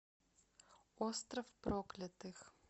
остров проклятых